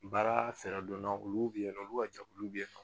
Baara fɛɛrɛ dɔnna olu bɛ yen nɔ olu ka jɛkulu bɛ yen nɔ